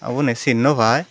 aha uboni chin no pai.